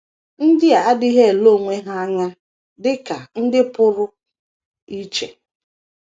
NDỊ a adịghị ele onwe ha anya dị ka ndị pụrụ iche.